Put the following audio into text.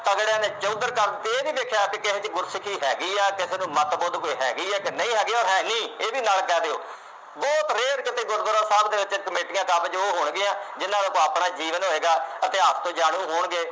ਤਕੜਿਆ ਨੇ ਚੌਧਰ ਕਰਕੇ, ਇਹ ਨਹੀਂ ਦੇਖਿਆ ਬਈ ਕਿਸੇ ਦੀ ਗੁਰਸਿੱਖੀ ਹੈਗੀ ਹੈ, ਕਿਸੇ ਨੂੰ ਮੱਤਬੁੱਧ ਕੋਈ ਹੈਗੀ ਹੈ ਕਿ ਨਹੀਂ ਹੈਗੀ, ਅੋਰ ਹੈ ਨਹੀਂ, ਇਹ ਵੀ ਨਾਲ ਕਹਿ ਦਿਉ, ਬਹੁਤ rare ਕਿਤੇ ਗੁਰਦੁਆਰਾ ਸਾਹਿਬ ਦੇ ਵਿੱਚ ਕਮੇਟੀਆਂ ਕਾਬਜ਼ ਉਹ ਹੋਣਗੀਆਂ, ਜਿੰਨਾ ਨੂੰ ਆਪਣਾ ਜੀਵਨ ਹੋਏਗਾ, ਇਤਿਹਾਸ ਤੋਂ ਜਾਣੂੰ ਹੋਣਗੇ।